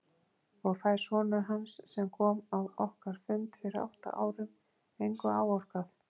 Og fær sonur hans sem kom á okkar fund fyrir átta árum engu áorkað?